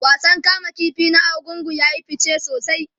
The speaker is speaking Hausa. wasan kama ƙifi na argungu yayi fice sosai